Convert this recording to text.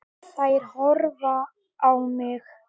Skilaðu kveðju til Einars Más.